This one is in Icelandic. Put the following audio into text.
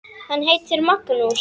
Hann heitir Magnús.